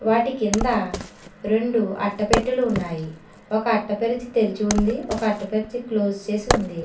వాటి కింద రెండు అట్టపెట్టెలు ఉన్నాయి ఒక అట్టపరిచి తెరిచి ఉంది ఒక అట్టుపచ్చి క్లోజ్ చేసి ఉంది.